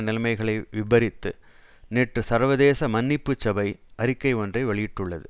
நிலைமைகளை விபரித்து நேற்று சர்வதேச மன்னிப்பு சபை அறிக்கை ஒன்றை வெளியிட்டுள்ளது